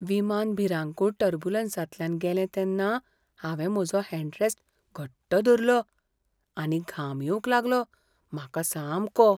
विमान भिरांकूळ टर्ब्युलंसांतल्यान गेलें तेन्ना हांवें म्हजो हॅंडरॅस्ट घट्ट धरलो आनी घाम येवंक लागलो म्हाका सामको.